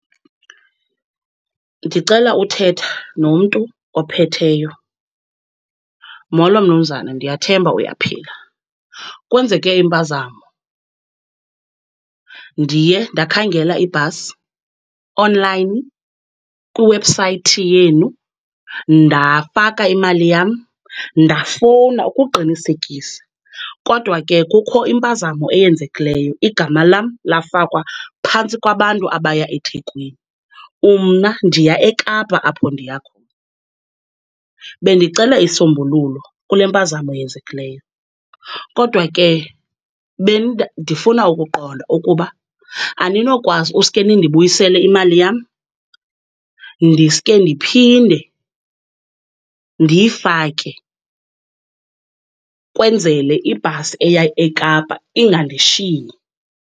Ndicela uthetha nomntu ophetheyo. Molo mnumzana, ndiyathemba uyaphila. Kwenzeke impazamo, ndiye ndakhangela ibhasi onlayini kwi-website yenu, ndafaka imali yam, ndafowuna ukuqinisekisa, kodwa ke kukho impazamo eyenzekileyo igama lam lafakwa phantsi kwabantu abaya eThekwini. Mna ndiya eKapa apho ndiya khona, bendicela isisombululo kule mpazamo yenzekileyo. Kodwa ke ndifuna ukuqonda ukuba aninokwazi uske nindibuyisele imali yam ndiske ndiphinde ndiyifake kwenzele ibhasi eya eKapa ingandishiyi.